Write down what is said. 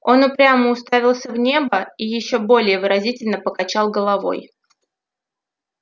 он упрямо уставился в небо и ещё более выразительно покачал головой